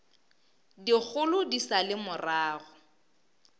dikgolo di sa le morago